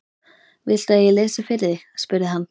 Viltu að ég lesi fyrir þig? spurði hann.